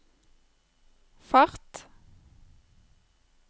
fart